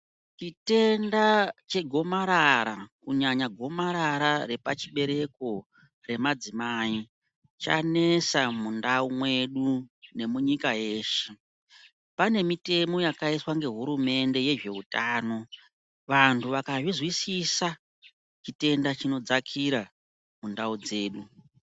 Chitenda chegomarara kunyanya gomarara repachibereko chemadzimai chanesa mundau mwedu nemunyika yeshe pane mitemo yakaiswa ngehurumende yezveutano vantu vakaizwisisa chitenda chinodzakira mundau dzedu.